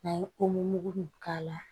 N'an ye mugu in k'a la